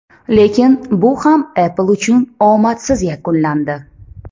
Lekin bu ham Apple uchun omadsiz yakunlandi.